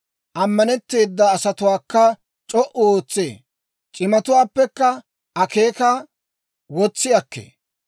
Ammanetteeda asatuwaakka c'o"u ootsee; c'imatuwaappekka akeekaa wotsi akkee.